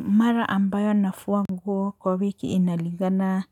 Mara ambayo nafua nguo kwa wiki inalingana